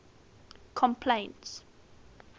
complaints